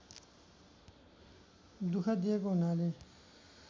दुख दिएको हुनाले